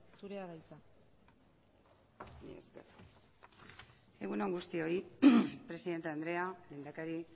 zurea da hitza mila esker egun on guztioi presidente andrea lehendakari